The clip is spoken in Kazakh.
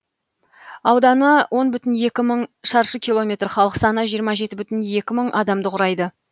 ауданы он бүтін екі мың шаршы километр халық саны жиырма жеті бүтін екі мың адамды құрайды